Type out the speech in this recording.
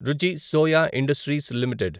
రుచి Soya industries limited